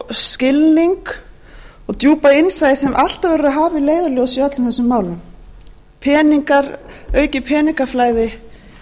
og djúpa innsæi sem alltaf verður að hafa að leiðarljósi í öllum þessum málum aukið peningaflæði